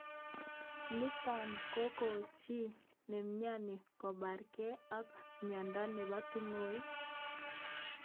Nitok kokochin chi nemnyani kobarkei ak mnyenotok bo tungwek.